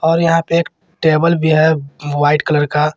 और यहां पे टेबल भी है व्हाइट कलर का।